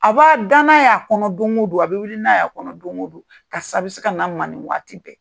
A b'a da n'a y'a kɔnɔ don o don , a bɛ wili n'a y'a kɔnɔ don o don , karisa bɛ se ka na n man nin waati bɛɛ!